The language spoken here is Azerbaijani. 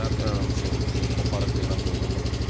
Bəli, mənim üçün ən önəmli şey odur ki, o xarakteri mən görmürəm komandada.